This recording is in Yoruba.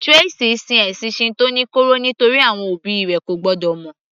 Tracey sin ẹ̀sìn Shinto ní kọ̀rọ̀ nítorí àwọn òbí rẹ̀ ko gbọ́dọ̀ mọ̀